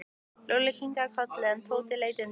Lúlli kinkaði kolli en Tóti leit undan.